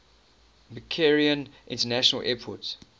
mccarran international airport